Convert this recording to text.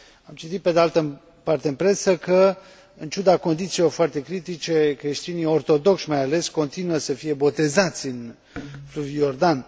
Am citit, pe de altă parte, în presă că, în ciuda condițiilor foarte critice, creștinii, ortodocși mai ales, continuă să fie botezați în fluviul Iordan.